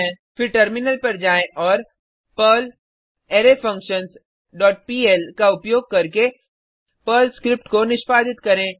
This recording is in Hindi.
फिर टर्मिलन पर जाएँ और पर्ल अरेफंक्शंस डॉट पीएल का उपयोग करके पर्ल स्क्रिप्ट को निष्पादित करें